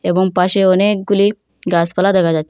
এবং পাশে অনেকগুলি গাসপালা দেখা যাচ্ছে।